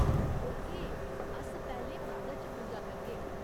Okay, अस पैह्‌लें मंदर च पूजा करगे।